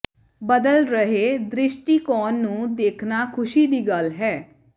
ਬਦਲ ਰਹੇ ਦ੍ਰਿਸ਼ਟੀਕੋਣ ਨੂੰ ਦੇਖਣਾ ਖੁਸ਼ੀ ਦੀ ਗੱਲ ਹੈ